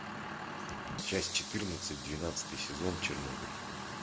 часть четырнадцать двенадцатый сезон чернобыль